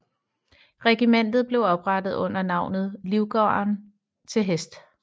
Regimentet blev oprettet under navnet Livgarden til Hest